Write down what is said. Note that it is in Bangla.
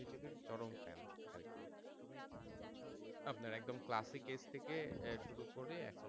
আপনাকে কোন classic age শুরু করে এখন